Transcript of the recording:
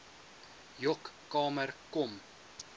joc kamer kom